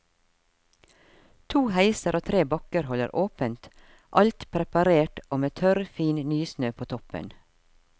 To heiser og tre bakker holder åpent, alt preparert og med tørr, fin nysne på toppen.